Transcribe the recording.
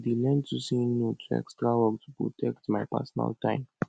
i dey learn to say no to extra work to protect my personal time